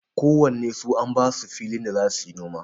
Ko wannen su an basu filin da za suyi noma.